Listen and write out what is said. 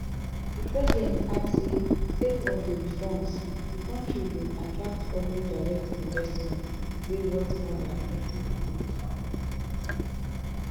di president add say sake of di reforms di kontri bin attract foreign direct investments wey worth more dan thirty billion in di last year